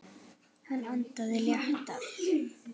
Hann andaði léttar.